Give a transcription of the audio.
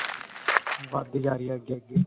ਵਧਦੀ ਜਾਂ ਰਹੀ ਹੈ ਅੱਗੇ-ਅੱਗੇ.